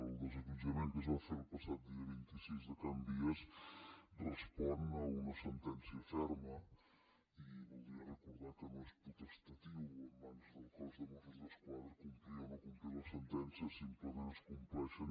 el desallotjament que es va fer el passat dia vint sis a can vies respon a una sentència ferma i voldria recordar que no és potestatiu o en mans del cos de mossos d’esquadra complir o no complir les sentències simplement es compleixen